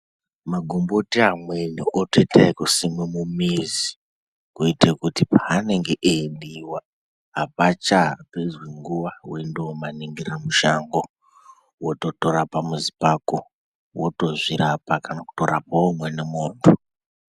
Magomboti amweni otoita ekusimwe mumuzi, kuite kuti paanenge eibhiiwa, apachapedzi nguwa weindomaningira mushango. Wototora pamuzi pako, wotozvirapa, kana kutorapawo umweni muntu.